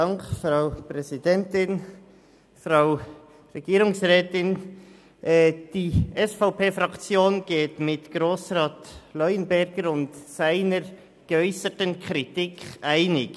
Die SVP-Fraktion geht mit Grossrat Leuenberger und seiner geäusserten Kritik einig.